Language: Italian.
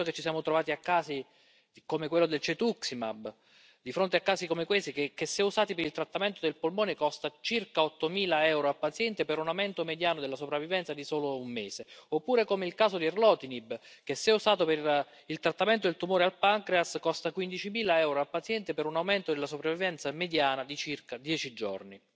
Ed è per questo che ci siamo trovati a casi come quello del cetuximab, di fronte a casi come questi, che se usati per il trattamento del polmone costa circa ottomila euro a paziente per un aumento mediano della sopravvivenza di solo un mese. Oppure, come il caso di erlotinib, che se usato per il trattamento del tumore al pancreas costa 15000 euro a paziente per un aumento della sopravvivenza mediana di circa dieci giorni.